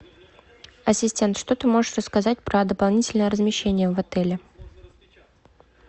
ассистент что ты можешь рассказать про дополнительное размещение в отеле